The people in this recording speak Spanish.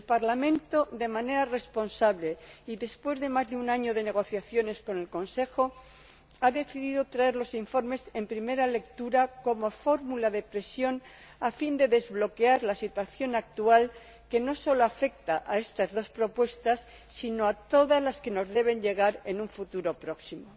El Parlamento, de manera responsable y después de más de un año de negociaciones con el Consejo, ha decidido traer los informes en primera lectura como fórmula de presión a fin de desbloquear la situación actual, que afecta no solo a estas dos propuestas sino también a todas las que nos deben llegar en un futuro próximo.